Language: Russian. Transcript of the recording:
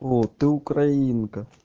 вот ты украинка